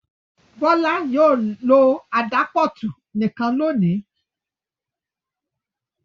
Bọ́lá yóò lo àdápútọ̀ nìkan lónìí.